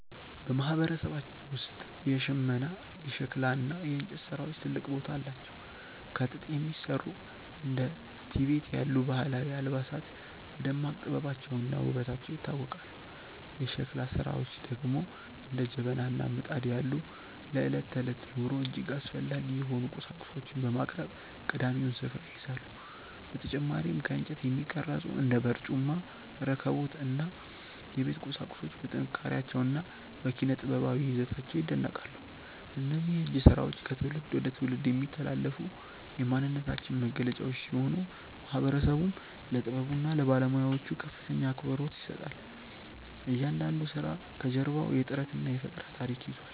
በማህበረሰባችን ውስጥ የሽመና፣ የሸክላ እና የእንጨት ስራዎች ትልቅ ቦታ አላቸው። ከጥጥ የሚሰሩ እንደ ቲቤት ያሉ ባህላዊ አልባሳት በደማቅ ጥበባቸውና ውበታቸው ይታወቃሉ። የሸክላ ስራዎች ደግሞ እንደ ጀበና እና ምጣድ ያሉ ለዕለት ተዕለት ኑሮ እጅግ አስፈላጊ የሆኑ ቁሳቁሶችን በማቅረብ ቀዳሚውን ስፍራ ይይዛሉ። በተጨማሪም ከእንጨት የሚቀረጹ እንደ በርጩማ፣ ረከቦት እና የቤት ቁሳቁሶች በጥንካሬያቸውና በኪነ-ጥበባዊ ይዘታቸው ይደነቃሉ። እነዚህ የእጅ ስራዎች ከትውልድ ወደ ትውልድ የሚተላለፉ የማንነታችን መገለጫዎች ሲሆኑ፣ ማህበረሰቡም ለጥበቡና ለባለሙያዎቹ ከፍተኛ አክብሮት ይሰጣል። እያንዳንዱ ስራ ከጀርባው የጥረትና የፈጠራ ታሪክ ይዟል።